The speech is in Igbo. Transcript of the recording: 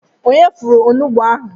Onye fọrọ onugbu a?